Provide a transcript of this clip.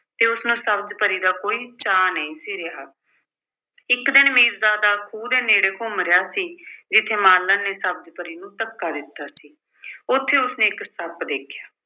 ਕਿ ਉਸਨੂੰ ਸਬਜ਼ ਪਰੀ ਦਾ ਕੋਈ ਚਾਅ ਨਹੀਂ ਸੀ ਰਿਹਾ। ਇੱਕ ਦਿਨ ਮੀਰਜ਼ਾਦਾ ਖੂਹ ਦੇ ਨੇੜੇ ਘੁੰਮ ਰਿਹਾ ਸੀ, ਜਿੱਥੇ ਮਾਲਣ ਨੇ ਸਬਜ਼ ਪਰੀ ਨੂੰ ਧੱਕਾ ਦਿੱਤਾ ਸੀ। ਉੱਥੇ ਉਸਨੇ ਇੱਕ ਸੱਪ ਦੇਖਿਆ